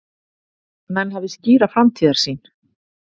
Menn hafi skýra framtíðarsýn